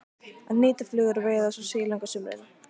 Að hnýta flugur og veiða svo silung á sumrin.